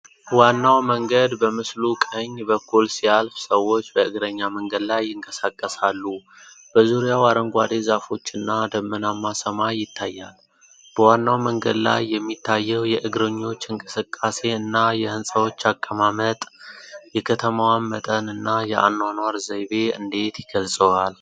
ዋናው መንገድ በምስሉ ቀኝ በኩል ሲያልፍ፣ ሰዎች በእግረኛ መንገድ ላይ ይንቀሳቀሳሉ፤ በዙሪያው አረንጓዴ ዛፎችና ደመናማ ሰማይ ይታያል። በዋናው መንገድ ላይ የሚታየው የእግረኞች እንቅስቃሴ እና የህንፃዎች አቀማመጥ የከተማዋን መጠን እና የአኗኗር ዘይቤ እንዴት ይገልፃል?